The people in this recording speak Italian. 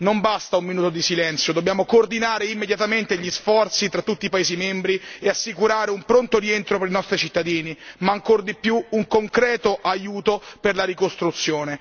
Non basta un minuto di silenzio, dobbiamo coordinare immediatamente gli sforzi tra tutti i paesi membri e assicurare un pronto rientro per i nostri cittadini ma, ancor di più, un concreto aiuto per la ricostruzione.